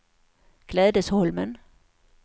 Klädesholmen